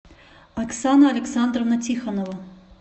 оксана александровна тихонова